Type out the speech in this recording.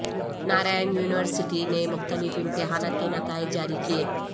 Narayan university نے مختلف امتحانات کے نتائج جاری کئے